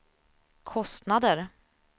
kostnader